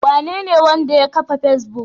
Wanene wanda ya kafa Facebook?